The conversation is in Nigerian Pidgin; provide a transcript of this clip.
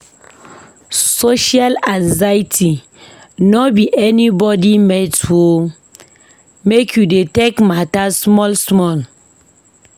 Social anxiety no be anybodi mate o, make you dey take mata small-small.